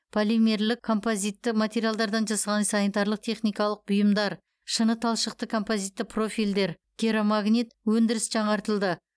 полимерлік композитті материалдардан жасалған санитарлық техникалық бұйымдар шыныталшықты композитті профильдер керамогранит өндіріс жаңартылды